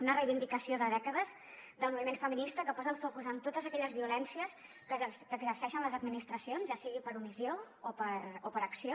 una reivindicació de dècades del moviment feminista que posa el focus en totes aquelles violències que exerceixen les administracions ja sigui per omissió o per acció